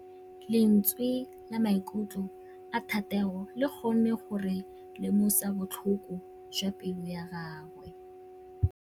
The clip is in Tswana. Lentswe la maikutlo a Thategô le kgonne gore re lemosa botlhoko jwa pelô ya gagwe.